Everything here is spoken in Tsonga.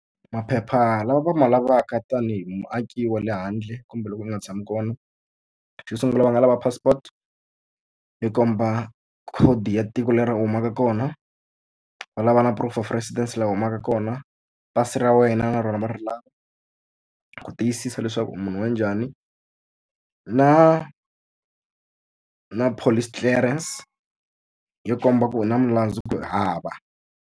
Maphepha lama va ma lavaka tanihi muaaki wa le handle kumbe loko u nga tshami kona, xo sungula va nga lava passport yi komba khodi ya tiko leri u humaka kona. Va lava na proof of residence laha ma ka kona, pasi ra wena na rona va ri lava ku tiyisisa leswaku u munhu wa njhani, na na police clearance yo komba ku u na milandzu kumbe u hava.